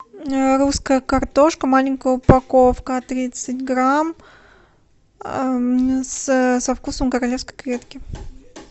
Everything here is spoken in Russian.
русская картошка маленькая упаковка тридцать грамм со вкусом королевской креветки